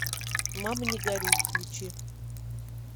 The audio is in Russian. мама не горюй включи